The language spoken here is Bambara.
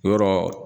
Yɔrɔ